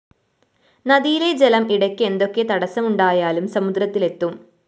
നദിയിലെ ജലം ഇടയ്ക്ക് എന്തൊക്കെ തടസ്സമുണ്ടായാലും സമുദ്രത്തില്‍ എത്തും